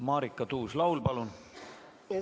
Marika Tuus-Laul, palun!